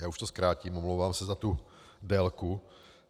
Já už to zkrátím, omlouvám se za tu délku.